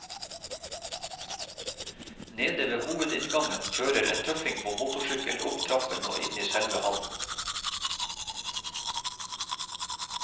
Nede ved hovedinngangen kjører en tøffing på motorsykkel opp trappen og inn i selve hallen.